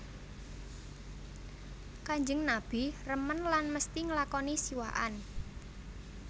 Kanjeng Nabi remen lan mesti nglakoni siwakan